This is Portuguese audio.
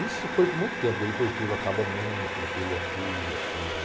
Isso foi por muito tempo, porque depois teve o acabamento, teve aquilo e aquilo.